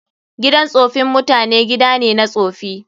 Gidan tsofin mutane gida ne na tsofi.